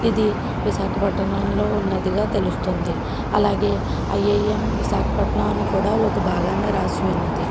ఇది విశాఖపట్నంలో ఉన్నదిగా తెలుస్తోంది అలాగే ఐ ఐఎం విశాఖపట్నం అని కూడా ఒక భాగాన రాసి ఉన్నది.